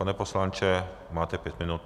Pane poslanče, máte pět minut.